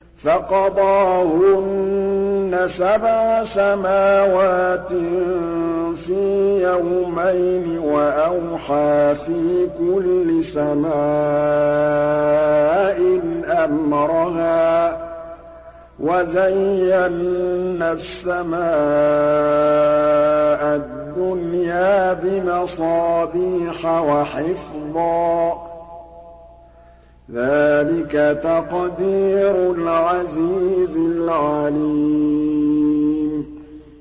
فَقَضَاهُنَّ سَبْعَ سَمَاوَاتٍ فِي يَوْمَيْنِ وَأَوْحَىٰ فِي كُلِّ سَمَاءٍ أَمْرَهَا ۚ وَزَيَّنَّا السَّمَاءَ الدُّنْيَا بِمَصَابِيحَ وَحِفْظًا ۚ ذَٰلِكَ تَقْدِيرُ الْعَزِيزِ الْعَلِيمِ